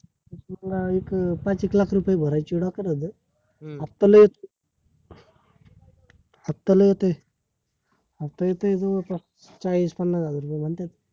तुला एक पाच एक लाख रुपये भरायचे डोक्यात होतं? आत्ता लय हफ्ता लय होतय हफ्ता येतोय जवळ पास चाळीस पन्नास हजार रुपये म्हणतेत